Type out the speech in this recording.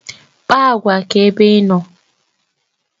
Kpaa agwa ka ebe ịnọ